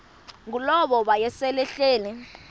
ngulowo wayesel ehleli